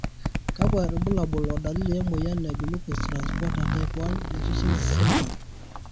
kakkwa irbulabol o dalili e moyian e Glucose transporter type 1 deficiency syndrome?